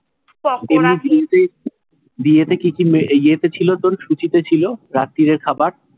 বিয়েতে কি কি ইয়েতে ছিলো, তোর সূচীতে ছিলো, রাত্রিরের খাবার?